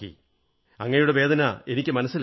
അങ്ങയുടെ വേദന എനിക്കു മനസ്സിലാകും